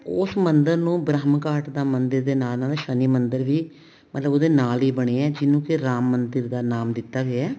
ਉਸ ਮੰਦਿਰ ਨੂੰ ਬ੍ਰਹਮ ਘਾਟ ਦਾ ਮੰਦਿਰ ਦੇ ਨਾਲ ਨਾਲ ਸ਼ਨੀ ਦਾ ਮੰਦਿਰ ਵੀ ਮਤਲਬ ਉਹਦੇ ਨਾਲ ਹੀ ਬਣਿਆ ਹੈ ਜਿਹਨੂੰ ਕੇ ਰਾਮ ਮੰਦਿਰ ਦਾ ਨਾਮ ਦਿੱਤਾ ਗਿਆ